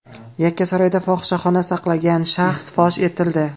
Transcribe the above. Yakkasaroyda fohishaxona saqlagan shaxs fosh etildi.